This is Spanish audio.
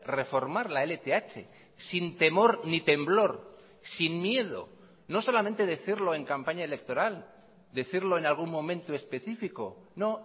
reformar la lth sin temor ni temblor sin miedo no solamente decirlo en campaña electoral decirlo en algún momento específico no